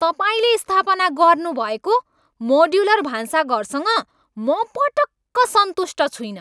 तपाईँले स्थापना गर्नुभएको मोड्युलर भान्साघरसँग म पटक्क सन्तुष्ट छुइनँ।